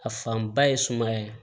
A fanba ye sumaya ye